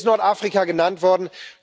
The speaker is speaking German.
Hier ist Nordafrika genannt worden.